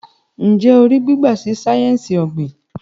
Njé o rí gbígba sí sáyẹnsì ogbin?